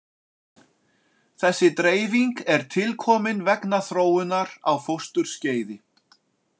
Þessi dreifing er tilkomin vegna þróunar á fósturskeiði.